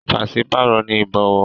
Pàṣípàrọ̀ ni ìbọ̀wọ̀.